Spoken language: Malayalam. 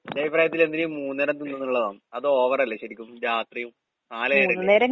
എന്റഭിപ്രായത്തിലെന്തിനായീ മൂന്ന് നേരം തിന്നുന്നുള്ളതാണ്. അതോവറല്ലേ ശെരിക്കും, രാത്രിയും നാല് നേരയില്ലേ?